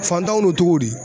Fantanw n'o tɔgɔdi